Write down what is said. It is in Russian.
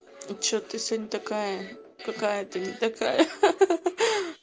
что то ты сегодня такая какая-то не такая ха ха